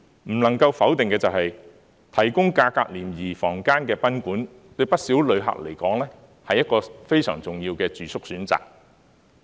不能否定的是，提供價格廉宜房間的賓館，對不少旅客來說，是一個非常重要的住宿選擇。